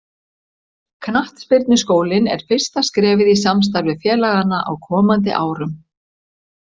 Knattspyrnuskólinn er fyrsta skrefið í samstarfi félaganna á komandi árum.